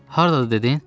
Hardadır dedin?